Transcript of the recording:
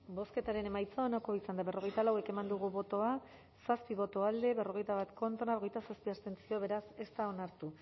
bozketaren emaitza onako izan da berrogeita lau eman dugu bozka zazpi boto alde berrogeita bat contra hogeita zazpi abstentzio beraz ez da onartu